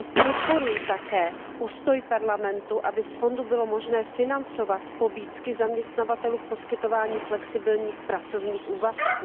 Podporuji také postoj Parlamentu, aby z fondu bylo možné financovat pobídky zaměstnavatelů v poskytování flexibilních pracovních úvazků.